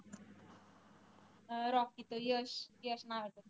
अं Rocky तो यश यश नावाचा